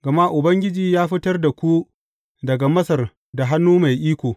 Gama Ubangiji ya fitar da ku daga Masar da hannu mai iko.